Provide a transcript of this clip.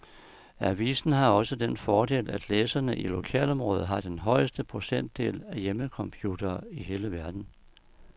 Avisen har også den fordel, at læserne i lokalområdet har den højeste procentdel af hjemmecomputere i hele verden.